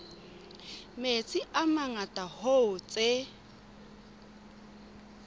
metsi a mangata hoo tse